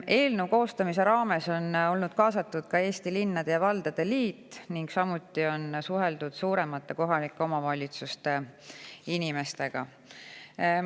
Eelnõu koostamise raames on olnud kaasatud ka Eesti Linnade ja Valdade Liit, samuti on suheldud suuremate kohalike omavalitsuste inimestega.